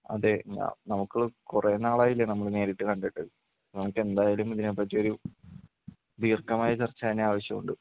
അതെ ഞാ നമുക്ക് കുറെ നാളായില്ലേ നമ്മള് നേരിട്ട് കണ്ടിട്ട് നമുക്കെന്തായാലും ഇതിനെപ്പറ്റിയൊരു ദീർഘമായ ചർച്ച തന്നെ ആവശ്യമുണ്ട്.